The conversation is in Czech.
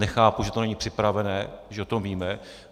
Nechápu, že to není připraveno, když o tom víme.